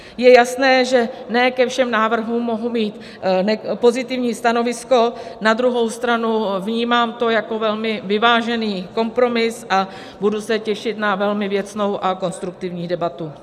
Je jasné, že ne ke všem návrhům mohu mít pozitivní stanovisko, na druhou stranu vnímám to jako velmi vyvážený kompromis a budu se těšit na velmi věcnou a konstruktivní debatu.